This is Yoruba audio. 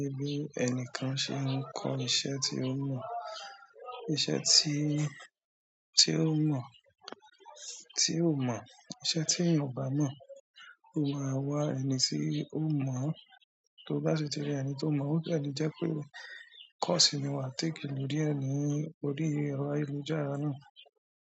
Pe bi ẹnìkan ṣe nkọ iṣẹ́ tí ó mọ̀, iṣẹ́ tí, tí ó mọ̀, tí ó mọ̀. Iṣẹ́ tí eeyan o bá mọ̀, ó máa wá ẹni tí ó mọ̀ án. To bá ṣi tí ri ẹni tó mọ̀, o de le jẹ́ pé course ni wá take lorie ní orí ẹ̀rọ ayélujára náà.